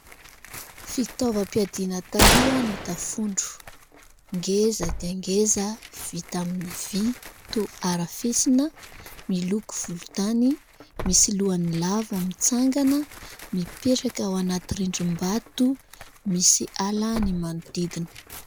Fitaovam-piadiana taloha ny tafondro. Ngeza dia ngeza vita amin'ny vy, toa harafesina miloko volontany, misy lohan'ny lava mitsangana, mipetraka ao anaty rindrim-bato ; misy ala ny manodidina.